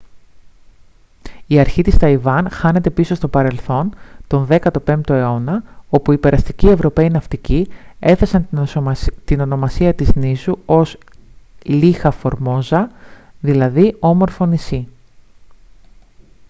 η αρχή της ταϊβάν χάνεται πίσω στο παρελθόν τον 15ο αιώνα όπου οι περαστικοί ευρωπαίοι ναυτικοί έθεσαν την ονομασία της νήσου ως ilha formosa δηλαδή όμορφο νησί